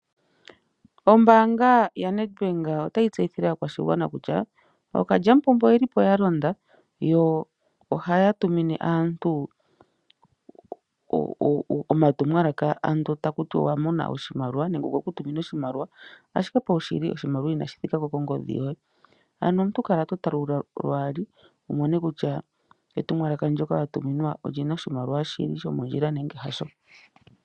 Ombaanga yaNedbank otayi tseyithile aakwashigwana kutya ookalyamupombo oye lipo ya londa yo ohaya tumine aantu oma tumwalaka ano taku tiwa owa mona oshimaliwa. Nenge okweku tumina oshimaliwa ashike pawushili oshimaliwa inashi thikako kongodhi yoye. Ano omuntu kala to tala lwaali wu mone kutya etumwalaka ndyoka wa tuminwa olina oshimaliwa shili shomondjila nenge hasho.